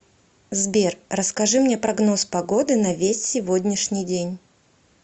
сбер расскажи мне прогноз погоды на весь сегодняшний день